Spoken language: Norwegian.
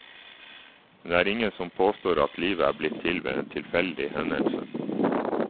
Men det er ingen som påstår at livet er blitt til ved en tilfeldig hendelse.